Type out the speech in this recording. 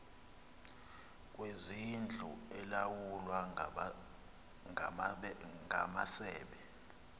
kwezindlu elawulwa ngamasebe